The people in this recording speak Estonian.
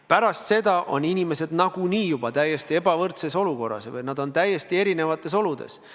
Pärast seda on inimesed nagunii juba täiesti ebavõrdses olukorras, nad on täiesti erinevates oludes.